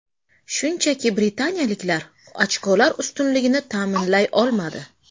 Shunchaki britaniyaliklar ochkolar ustunligini ta’minlay olmadi.